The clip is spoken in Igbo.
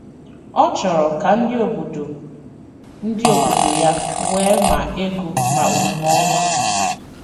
Ọ chọrọ ka ndị obodo ndị obodo ya nwee ma ego ma omume ọma.